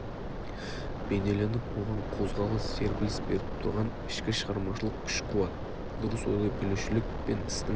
бейнеленіп оған қозғалыс серпіліс беріп тұрған ішкі шығармашылық күш-қуат дұрыс ойлай білушілік пен істің